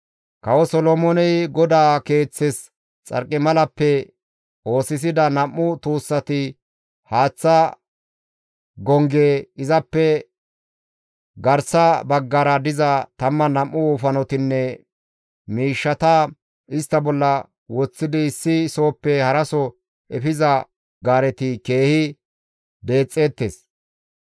Kawo Solomooney GODAA Keeththes xarqimalappe oosisida nam7u tuussati, haaththa gongge, izappe garsa baggara diza 12 wofanotinne miishshata istta bolla woththidi issi sohoppe haraso efiza gaareti keehi deexxeettes.